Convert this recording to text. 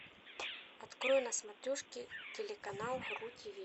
открой на смотрешке телеканал ру тв